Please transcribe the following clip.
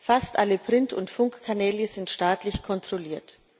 Fast alle Print und Funkkanäle sind staatlich kontrolliert.